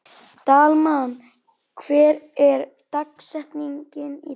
Dalmann, hver er dagsetningin í dag?